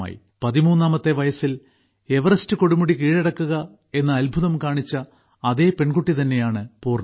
പതിമൂന്നാമത്തെ വയസ്സിൽ എവറസ്റ്റ് കൊടുമുടി കീഴടക്കുക എന്ന അദ്ഭുതം കാണിച്ച അതേപെൺകുട്ടി തന്നെയാണ് പൂർണ